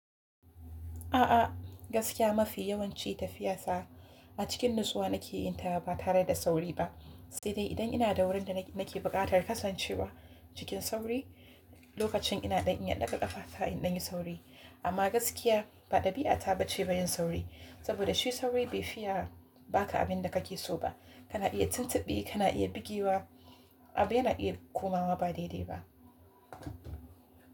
A'a, gaskiya mafi yawanci tafiya sa a cikin nutsuwa nake yin ta ba tare da sauri ba, sai dai idan ina da wurin da nake buƙatar kasancewa cikin sauri, lokacin ina dan in yaɗa ƙafa ta in dan yi sauri. Amma gaskiya ba ɗabi'a ta bace ba yin sauri, saboda shi sauri bai fiya ba ka abin da kake so ba. Kana iya tuntuɓe, kana iya bugewa, abu yana iya komawa ba daidai ba.